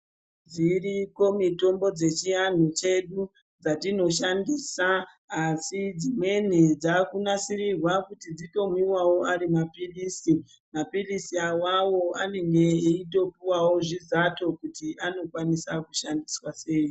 Dziriko mitombo dzechiantu chedu dzatinoshandisa asi dzimweni dzakunasirirwa kuti dzitomwiwawo ari mapirizi. Mapirizi awawo anenge echitopuwawo zvizato zvekuti anoshandiswa sei